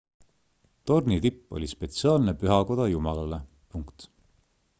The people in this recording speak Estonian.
tornitipp oli spetsiaalne pühakoda jumalale